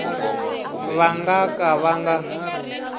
va nga ka va nga